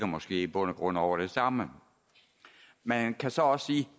måske i bund og grund dækker over det samme man kan så også sige